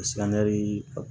Silamɛmɛ